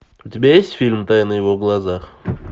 у тебя есть фильм тайна в его глазах